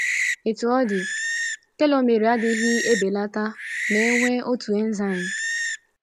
Otú ọ dị, telomere adịghị ebelata ma e nwee otu enzaịm.